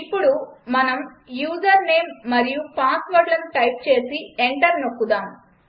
ఇప్పుడు మనం user name మరియు పాస్వర్డ్లను టైప్ చేసి ఎంటర్ నొక్కుదాం